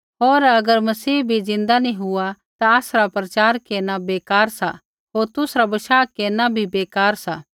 होर अगर मसीह भी ज़िन्दा नी हुआ ता आसरा प्रचार केरना बेकार सा होर तुसरा बशाह केरना भी बेकार सा